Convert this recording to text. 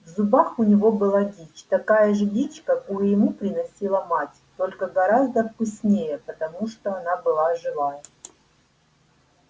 в зубах у него была дичь такая же дичь какую ему приносила мать только гораздо вкуснее потому что она была живая